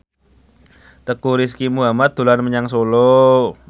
Teuku Rizky Muhammad dolan menyang Solo